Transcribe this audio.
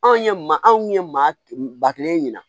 Anw ye maa anw ye maa kelen ɲina